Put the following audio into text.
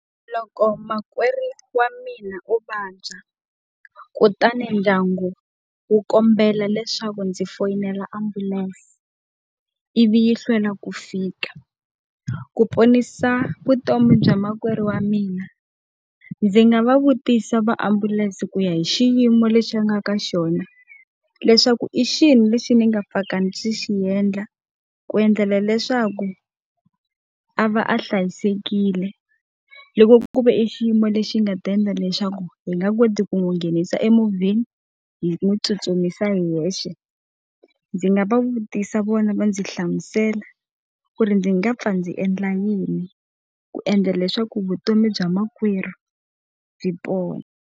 Loko makwerhu wa mina o vabya kutani ndyangu wu kombela leswaku ndzi foyinela ambulense, ivi yi hlwela ku fika. Ku ponisa vutomi bya makwerhu wa mina, ndzi nga va vutisa va ambulense ku ya hi xiyimo lexi a nga ka xona, leswaku hi xihi lexi ni nga pfaka ndzi xi endla ku endlela leswaku a va a hlayisekile? Loko ku ve i xiyimo lexi nga ta endla leswaku hi nga koti ku n'wi nghenisa emovheni hi n'wi tsutsumisa hi hexe. Ndzi nga va vutisa vona va ndzi hlamusela ku ri ndzi nga pfa ndzi endla yini ku endla leswaku vutomi bya makwerhu byi pona.